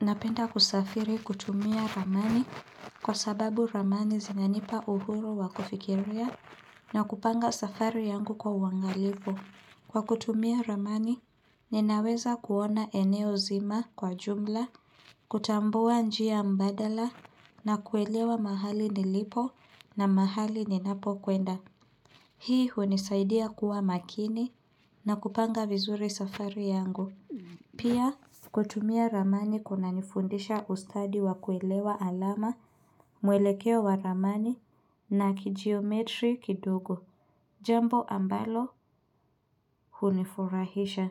Napenda kusafiri kutumia ramani kwa sababu ramani zinanipa uhuru wa kufikiria na kupanga safari yangu kwa uangalifu. Kwa kutumia ramani, ninaweza kuona eneo zima kwa jumla, kutambua njia mbadala na kuelewa mahali nilipo na mahali ninapo kwenda. Hii hunisaidia kuwa makini na kupanga vizuri safari yangu. Pia kutumia ramani kuna nifundisha ustadi wa kuelewa alama, mwelekeo wa ramani na kijiometri kidogo. Jambo ambalo hunifurahisha.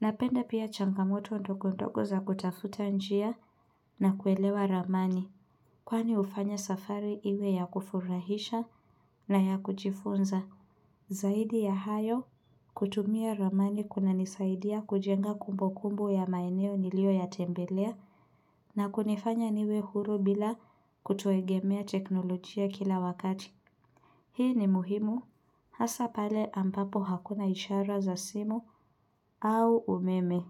Napenda pia changamoto ndogo ndogo za kutafuta njia na kuelewa ramani. Kwani hufanya safari iwe ya kufurahisha na ya kujifunza. Zaidi ya hayo kutumia ramani kunanisaidia kujenga kumbu kumbu ya maeneo nilio yatembelea na kunifanya niwe huru bila kutegemea teknolojia kila wakati. Hii ni muhimu hasa pale ambapo hakuna ishara za simu au umeme.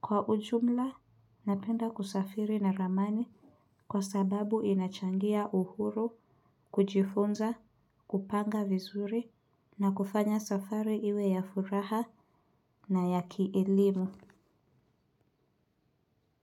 Kwa ujumla, napenda kusafiri na ramani kwa sababu inachangia uhuru, kujifunza, kupanga vizuri na kufanya safari iwe ya furaha na ya kielimu.